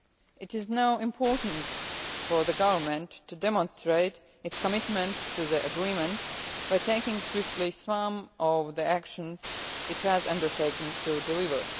It is now important for the Government to demonstrate its commitment to the agreement by taking swiftly some of the actions it has undertaken to deliver.